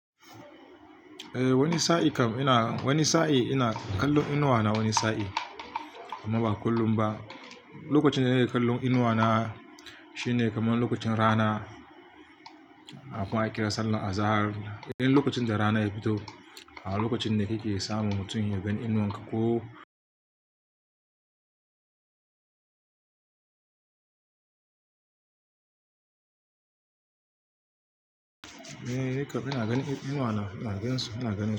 Eh, wani sa'i kam ina, wani sa'i ina kallon inuwa na wani sa'i amma ba kullum ba. Lokacin da na ke kallon inuwa na shine kamar lokacin rana, kafin a kira sallar Azahar. Idan lokacin da rana ya fito, a lokacin ne kike samu mutum ya gani inuwan ka ko. Ka fi na gani inuwa na, ina gani su suna gani.